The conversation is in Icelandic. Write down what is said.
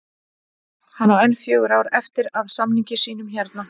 Hann á enn fjögur ár eftir af samningi sínum hérna